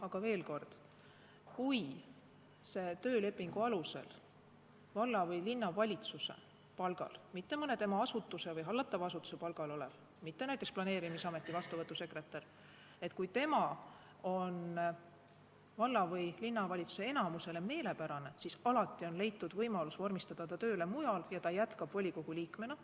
Aga veel kord: kui see inimene on töölepingu alusel valla- või linnavalitsuse palgal, mitte mõne tema asutuse või hallatava asutuse palgal, näiteks vastuvõtusekretär, ja ta on valla- või linnavalitsuse enamusele meelepärane, siis on alati leitud võimalus vormistada ta tööle mujal ja ta jätkab volikogu liikmena.